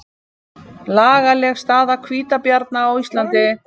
Lagaleg staða hvítabjarna á Íslandi